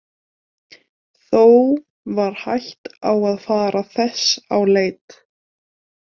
Þó var hætt á að fara þess á leit.